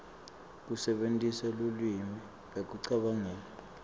kusebentisa lulwimi ekucabangeni